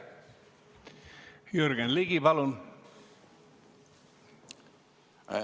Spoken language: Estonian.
Jürgen Ligi, palun!